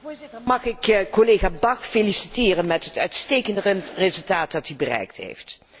Voorzitter, mag ik collega Bach feliciteren met het uitstekende resultaat dat hij bereikt heeft.